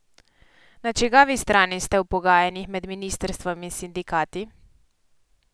Na čigavi strani ste v pogajanjih med ministrstvom in sindikati?